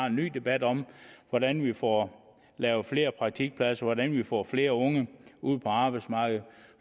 en ny debat om hvordan vi får lavet flere praktikpladser hvordan vi får flere unge ud på arbejdsmarkedet